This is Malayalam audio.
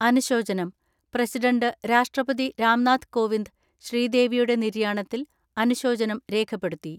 അനുശോചനം, പ്രസിഡന്റ് രാഷ്ട്രപതി രാംനാഥ് കോവിന്ദ് ശ്രീദേവിയുടെ നിര്യാണത്തിൽ അനുശോചനം രേഖപ്പെടുത്തി.